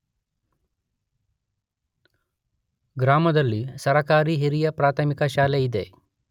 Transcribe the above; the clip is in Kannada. ಗ್ರಾಮದಲ್ಲಿ ಸರಕಾರಿ ಹಿರಿಯ ಪ್ರಾಥಮಿಕ ಶಾಲೆ ಇದೆ.